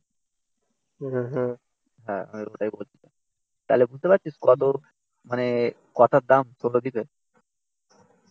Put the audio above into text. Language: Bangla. হ্যাঁ আমি ওটাই বলছি তাহলে বুঝতে পারছিস কত মানে কথার দাম সৌরদ্বীপ এর?